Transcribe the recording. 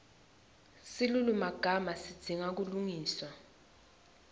silulumagama sidzinga kulungiswa